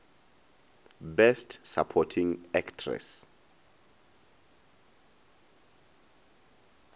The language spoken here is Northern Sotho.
best supporting actress